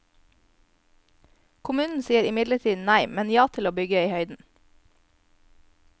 Kommunen sier imidlertid nei, men ja til å bygge i høyden.